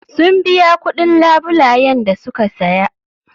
Sun biya kuɗin labulayen da suka saya.